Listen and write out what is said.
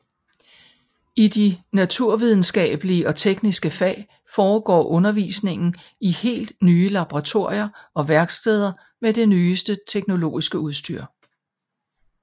I de naturvidenskabelige og tekniske fag foregår undervisningen i helt nye laboratorier og værksteder med det nyeste teknologiske udstyr